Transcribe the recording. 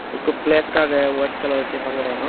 ikko pleks agey wyid kalar sey haboranot.